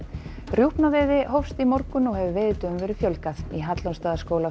rjúpnaveiði hófst í morgun og hefur veiðidögum verið fjölgað í